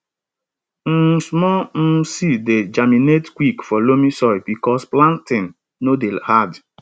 um small um seeds dey germinate quick for loamy soil because planting no dey hard